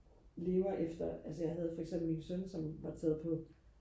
lever efter altså jeg havde for eksempel min søn som var taget på